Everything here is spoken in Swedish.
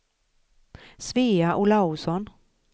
Svea Olausson